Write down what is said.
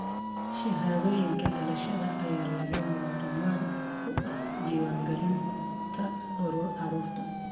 Shahaadooyinka dhalashada ayaa lagama maarmaan u ah diiwaangelinta carruurta.